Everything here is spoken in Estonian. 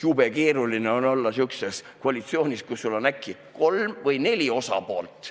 Jube keeruline on olla sihukeses koalitsioonis, kus sul on äkki kolm või neli osapoolt.